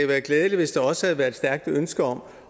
været glædeligt hvis der også havde været et stærkt ønske om